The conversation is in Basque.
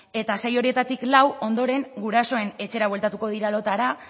eta sei horietatik lau ondoren gurasoen etxera bueltatuko dira lotara